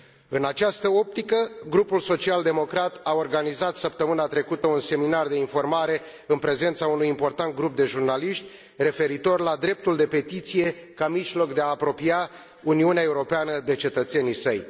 În această optică, Grupul Social Democrat a organizat săptămâna trecută un seminar de informare, în prezența unui important grup de jurnaliști, referitor la dreptul de petiție ca mijloc de a apropia Uniunea Europeană de cetățenii săi.